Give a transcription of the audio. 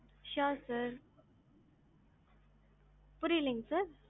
sure sir புறியலைங்க sir.